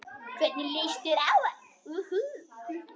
Hvernig leist þér á hann?